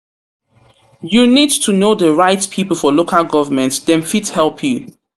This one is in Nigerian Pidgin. You need to know di right people for local government, dem fit help you.